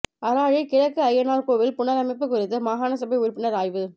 அராலி கிழக்கு ஐயனார் கோவில் புனரமைப்பு குறித்து மாகாணசபை உறுப்பினர் ஆராய்வு